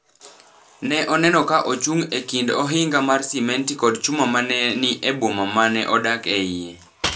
ne oneno ka ochung’ e kind ohinga mar simenti kod chuma ma ne ni e boma ma ne odak e iye.